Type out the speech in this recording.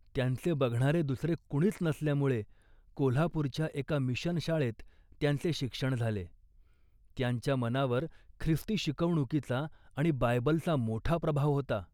त्यांचे बघणारे दुसरे कुणीच नसल्यामुळे कोल्हापूरच्या एका मिशन शाळेत त्यांचे शिक्षण झाले. त्यांच्या मनावर ख्रिस्ती शिकवणुकीचा आणि बायबलचा मोठा प्रभाव होता